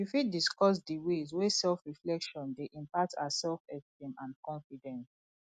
you fit discuss di ways wey selfreflection dey impact our selfesteem and confidence